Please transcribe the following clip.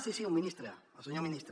sí sí un ministre el senyor ministre